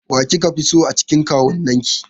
Wa kika fi so a cikin kawunnan ki?